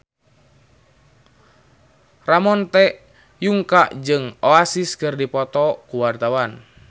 Ramon T. Yungka jeung Oasis keur dipoto ku wartawan